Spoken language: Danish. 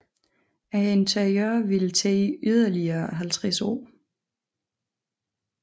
Interiøret ville tage yderligere 50 år